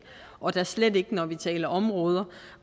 og da slet ikke når vi taler områder